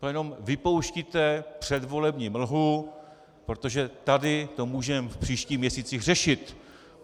To jenom vypouštíte předvolební mlhu, protože tady to můžeme v příštích měsících řešit.